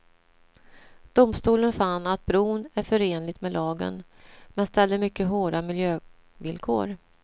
Domstolen fann att bron är förenlig med lagen, men ställde mycket hårda miljövillkor.